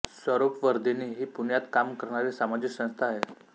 स्वरूपवर्धिनी ही पुण्यात काम करणारी सामाजिक संस्था आहे